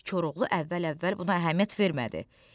Koroğlu əvvəl-əvvəl buna əhəmiyyət vermədi.